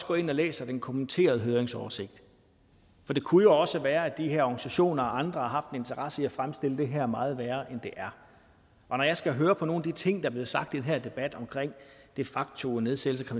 går ind og læser den kommenterede høringsoversigt for det kunne jo også være at de her organisationer og andre har haft interesse i at fremstille det her som meget værre end det er og når jeg skal høre på nogle af de ting der er blevet sagt i den her debat om de facto nedsættelse